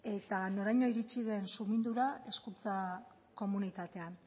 eta noraino iritsi den sumindura hezkuntza komunitatean